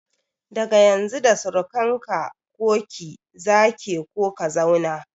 Daga Yanzu da surukan ka/ki za ke/ka zauna